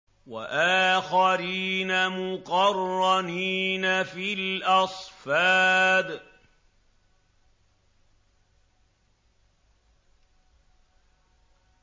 وَآخَرِينَ مُقَرَّنِينَ فِي الْأَصْفَادِ